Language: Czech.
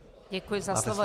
Děkuji za slovo.